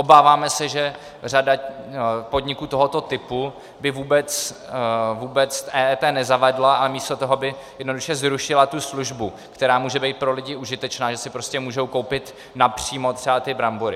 Obáváme se, že řada podniků tohoto typu by vůbec EET nezavedla a místo toho by jednoduše zrušila tu službu, která může být pro lidi užitečná, že si prostě můžou koupit napřímo třeba ty brambory.